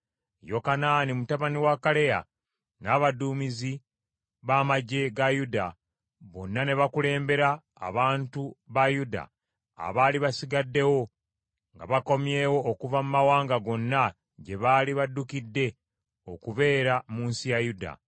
Yokanaani mutabani wa Kaleya n’abaduumizi ba magye ga Yuda bonna ne bakulembera abantu ba Yuda abaali basigaddewo nga bakomyewo okuva mu mawanga gonna gye baali baddukidde okubeera mu nsi ya Yuda.